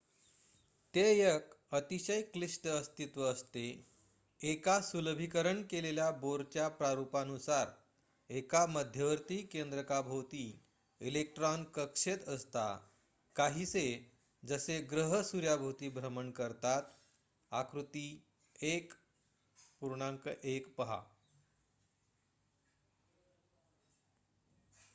ते एक अतिशय क्लिष्ट अस्तित्व असते एका सुलभीकरण केलेल्या बोरच्या प्रारुपानुसार एका मध्यवर्ती केंद्रका भोवती इलेक्ट्रॉन कक्षेत असता काहीसे जसे ग्रह सूर्याभोवती भ्रमण करतात.आकृती 1.1 पहा